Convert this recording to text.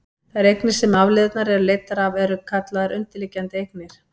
þær eignir sem afleiðurnar eru leiddar af eru kallaðar undirliggjandi eignir